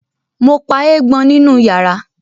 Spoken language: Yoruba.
Mo pa eégbọn nínú yàrá